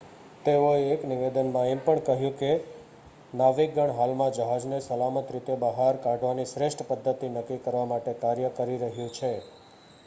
"તેઓએ એક નિવેદનમાં એમ પણ કહ્યું કે "નાવિકગણ હાલમાં જહાજને સલામત રીતે બહાર કાઢવાની શ્રેષ્ઠ પદ્ધતિ નક્કી કરવા માટે કાર્ય કરી રહ્યું છે"".